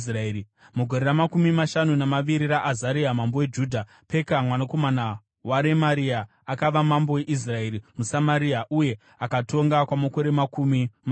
Mugore ramakumi mashanu namaviri raAzaria mambo weJudha, Peka, mwanakomana waRemaria, akava mambo weIsraeri muSamaria, uye akatonga kwamakore makumi maviri.